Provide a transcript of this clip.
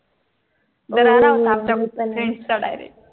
हम्म हम्म्म्म